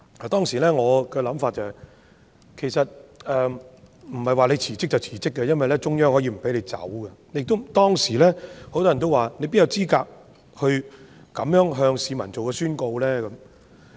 當時我的想法是，其實不是她說辭職便辭職，因為中央可以不批准，當時亦有很多人說，她哪有資格這樣向市民宣告呢？